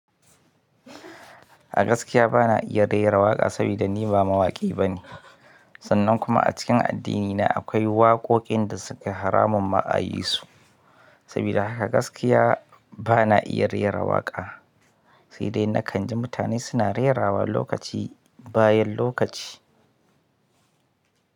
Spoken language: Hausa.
A gaskiya ba na iya raira waƙa sabida ni ba mawaƙi bane. Sannan kuma a cikin addini na akwai waƙoƙin da sukevharamun ma a yi su. Saboda haka gaskiya ba na iya rera waƙa. Saidai nakanji mutane suna rairawa lokaci bayan lokaci.